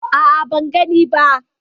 A'a, ban gani ba.